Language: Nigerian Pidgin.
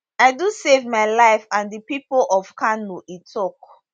i do save my life and di pipo of kano e tok